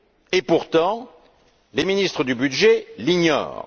Et pourtant, les ministres du budget l'ignorent.